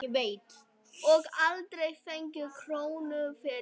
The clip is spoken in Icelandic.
Og aldrei fengið krónu fyrir.